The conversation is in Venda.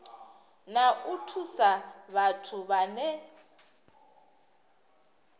na u thusa vhathu vhane